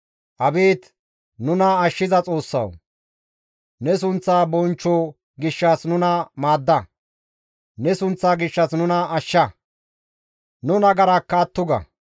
Abeet nuna ashshiza Xoossawu! Ne sunththa bonchcho gishshas nuna maadda; ne sunththa gishshas nuna ashsha; nu nagarakka atto ga.